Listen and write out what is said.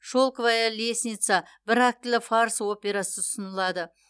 шелковая лестница бір актілі фарс операсы ұсынылады